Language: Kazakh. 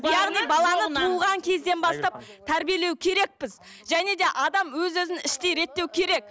яғни баланы туылған кезден бастап тәрбиелеу керекпіз және де адам өз өзін іштей реттеу керек